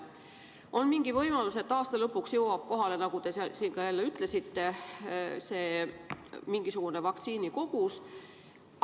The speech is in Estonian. On mingi võimalus, et aasta lõpuks jõuab kohale, nagu te ütlesite, veel mingisugune vaktsiinikogus.